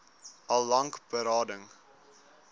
al lank berading